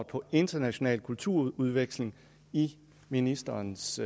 på international kulturudveksling i ministerens